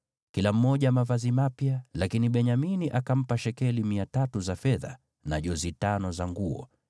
Kila mmoja mavazi mapya, lakini Benyamini akampa shekeli 300 za fedha, na jozi tano za nguo.